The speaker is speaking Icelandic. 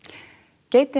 geitin